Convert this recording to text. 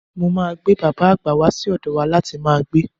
Mo máa gbé bàbà àgbà wà sọ́dọ̀ wa láti máa gbé.